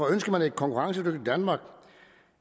ønsker et konkurrencedyk i danmark